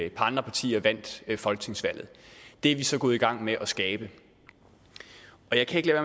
et par andre partier vandt folketingsvalget det er vi så gået i gang med at skabe jeg kan ikke